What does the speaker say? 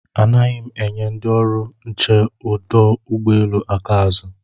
Anaghị m enye ndị ọrụ nche ọdụ ụgbọelu aka azụ